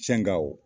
Fɛn gawo